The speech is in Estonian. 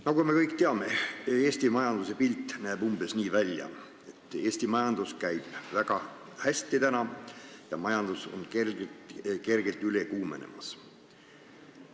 Nagu me kõik teame, Eesti majanduse pilt näeb välja umbes nii, et majandusel läheb väga hästi ja see on kergelt üle kuumenemas.